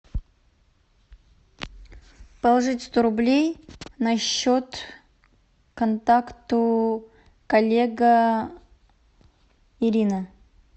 положить сто рублей на счет контакту коллега ирина